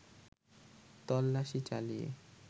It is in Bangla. তল্লাশি চালিয়ে